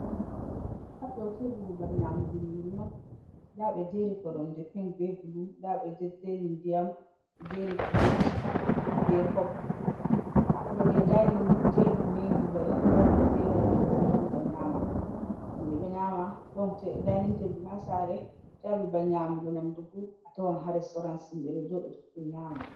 Haa ɗo teebur babal nyamugu nyiiri on nda ɓe jeeri koromje ping bee bulu ndaa ɓe jejjeeri ndiyam ndaa ɓe jeeri pilet bee kop, haa dow dainin teebur nii babal himɓe warata jooɗa nyaama on ha nder saare, a tawan haa restawran fuu himɓe ɗo jooɗa nyaama.